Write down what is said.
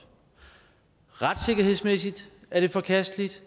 retssikkerhedsmæssigt er det forkasteligt